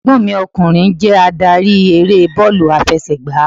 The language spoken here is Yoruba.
Ẹ̀gbọ́n mi ọkùnrin jé adarí eré bọ́ọ̀lù àfẹsẹ̀gbá